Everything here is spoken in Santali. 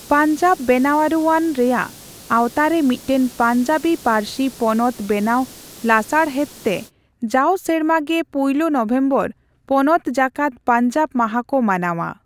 ᱯᱟᱧᱡᱟᱵᱽ ᱵᱮᱱᱟᱣᱟᱹᱨᱩ ᱟᱹᱱ ᱨᱮᱭᱟᱜ ᱟᱣᱛᱟᱨᱮ ᱢᱤᱫᱴᱟᱝ ᱯᱟᱧᱡᱟᱵᱤ ᱯᱟᱹᱨᱥᱤ ᱯᱚᱱᱚᱛ ᱵᱮᱱᱟᱣ ᱞᱟᱥᱟᱬᱦᱮᱫᱽᱛᱮ ᱡᱟᱣ ᱥᱮᱨᱢᱟ ᱜᱮ ᱯᱩᱭᱞᱩ ᱱᱚᱵᱷᱮᱢᱵᱚᱨ ᱯᱚᱱᱚᱛ ᱡᱟᱠᱟᱫ ᱯᱟᱧᱡᱟᱵᱽ ᱢᱟᱦᱟ ᱠᱚ ᱢᱟᱱᱟᱣᱼᱟ ᱾